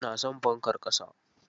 Ina son fankar ƙasa.